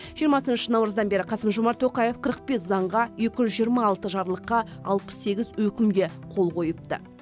жиырмасыншы наурыздан бері қасым жомарт тоқаев қырық бес заңға екі жүз жиырма алты жарлыққа алпыс сегіз өкімге қол қойыпты